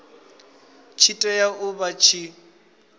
tshi tea u vha tshi